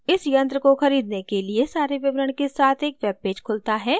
इस यंत्र को खरीदने के लिए सारे विवरण के साथ एक web पेज खुलता है